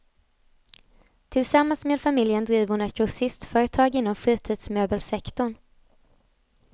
Tillsammans med familjen driver hon ett grossistföretag inom fritidsmöbelsektorn.